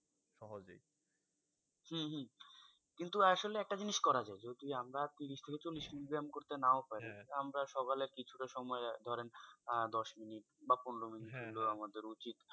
হম হম কিন্তু আসলে একটা জিনিস করা যায়, যদি আমরা ত্রিশ থেকে চল্লিশ minute ব্যাম করতে নাও পারি আমরা সকালে কিছুটা সময় ধরেন আহ দশ minute বা পনেরো minute আমাদের উচিৎ।